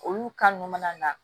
Olu nunnu mana na